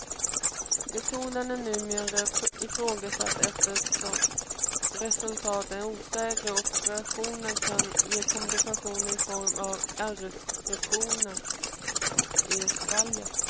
Metoden är numera ifrågasatt eftersom resultaten är osäkra och operationen kan ge komplikationer i form av ärrstrukturer i svalget.